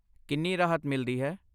ਕਿੰਨੀ ਰਾਹਤ ਮਿਲਦੀ ਹੈ?